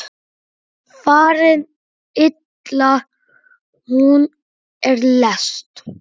Farin illa hún er lest.